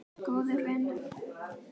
Góður vinur.